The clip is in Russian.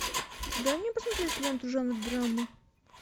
дай мне посмотреть ленту жанр драма